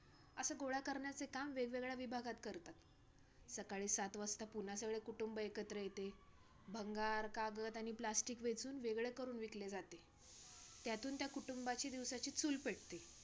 असं गोळा करण्याचे काम वेगवेगळ्या विभागात करतात. सकाळी सात वाजता पुन्हा सगळे कुटुंब एकत्र येते. भंगार, कागद आणि plastic वेचून वेगळे करून विकले जाते, त्यातून त्या कुटुंबाची दिवसाची चूल पेटते.